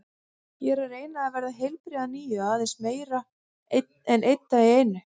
Ég er að reyna að verða heilbrigð að nýju, aðeins meira, einn dag í einu.